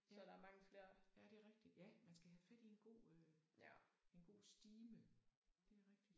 Ja ja det er rigtigt ja man skal have fat i en god øh en god stime det rigtigt